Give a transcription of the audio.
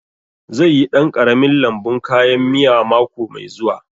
Zai yi ɗan ƙaramin lambun kayan miya mako mai zuwa